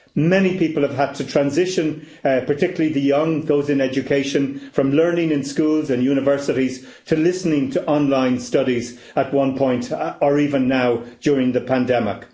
Many people have had to transition, particularly the young those in education from learning in schools and universities to listening to online studies at one point or even now during the pandemic.